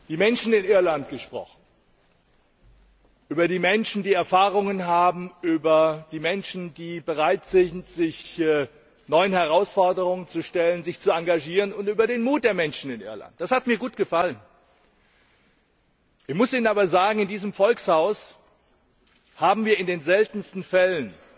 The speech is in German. Frau Präsidentin! Herr Ratspräsident, Sie haben über die Menschen in Irland gesprochen. Über die Menschen, die Erfahrungen haben, über die Menschen, die bereit sind, sich neuen Herausforderungen zu stellen, sich zu engagieren, und über den Mut der Menschen in Irland. Das hat mir gut gefallen. Ich muss Ihnen aber sagen, in diesem Volkshaus haben wir in den seltensten Fällen